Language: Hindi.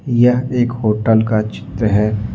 यह एक होटल का चित्र है ।